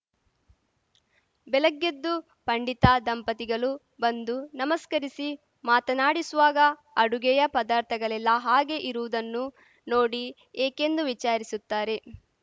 ಬೆಲಗ್ಗೆದ್ದು ಪಂಡಿತ ದಂಪತಿಗಲು ಬಂದು ನಮಸ್ಕರಿಸಿ ಮಾತನಾಡಿಸುವಾಗ ಅಡುಗೆಯ ಪದಾರ್ಥಗಲೆಲ್ಲಾ ಹಾಗೇ ಇರುವುದನ್ನು ನೋಡಿ ಏಕೆಂದು ವಿಚಾರಿಸುತ್ತಾರೆ